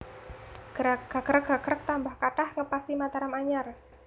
Gagrag gagrag tambah kathah ngepasi Mataram anyar